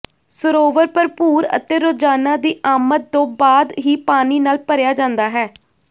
ਸਰੋਵਰ ਭਰਪੂਰ ਅਤੇ ਰੋਜ਼ਾਨਾ ਦੀ ਆਮਦ ਤੋਂ ਬਾਅਦ ਹੀ ਪਾਣੀ ਨਾਲ ਭਰਿਆ ਜਾਂਦਾ ਹੈ